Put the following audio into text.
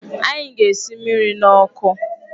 Anyị ga-esi mmiri n'ọkụ.